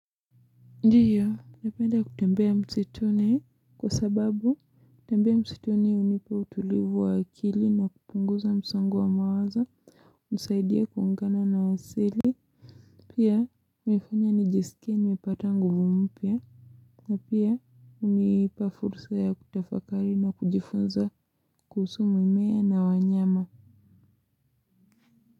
Ndiyo napenda kutembea msituni kwa sababu kutembea msituni up unipa utulivu wa akili na kupunguza msongo wa mawazo usaidia kuungana na asili. Pia nifanya nijisikie nimepata nguvu mpya. Na pia unipa fursa ya kutafakari na kujifunza kuhusu mimea na wanyama.